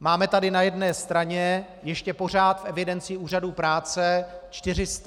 Máme tady na jedné straně ještě pořád v evidenci úřadů práce 440 tis. lidí.